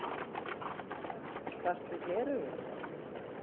Þarftu gleraugu?